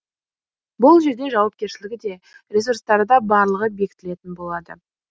бұл жерде жауапкершілігі де ресурстары да барлығы бекітілетін болады